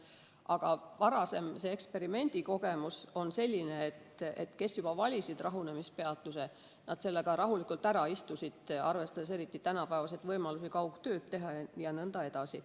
Aga varasem eksperimendikogemus on selline, et need, kes valisid rahunemispeatuse, selle aja ka rahulikult ära istusid, arvestades eriti tänapäeva võimalusi kaugtööd teha jne.